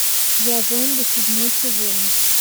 я зомби седьмой сезон